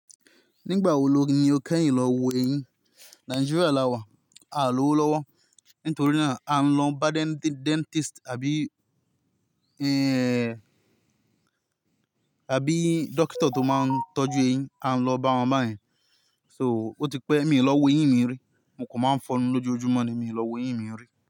Nígbà wo lórí ni o kẹ́yìn lọ wo eyín? Nigeria làwà, à lówó lọ́wọ́ nítorí ná à ń lọ bá dẹ́ntísì tì àbí, ẹ́ẹ́, àbí dọ́kítà tó máa ń tọ́jú eyín, à ń lọ bá wọn báyẹn. So ó ti pẹ́ mi lọ wo eyín mi rí, mo kò máa ń fọ́n lọjọjumọ ni mi lọ wo eyín mi rí.